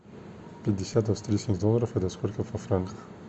пятьдесят австрийских долларов это сколько во франках